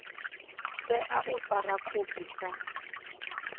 tea u fara khophi sa